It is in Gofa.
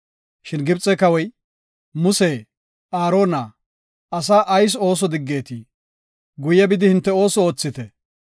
Shin Gibxe kawoy, “Muse, Aarona, Asaa ayis ooso diggetii? Guye bidi hinte oosuwa oothite.